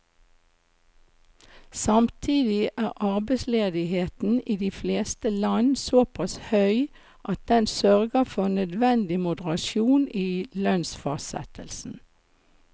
Samtidig er arbeidsledigheten i de fleste land såpass høy at den sørger for nødvendig moderasjon i lønnsfastsettelsen.